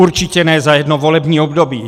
Určitě ne za jedno volební období.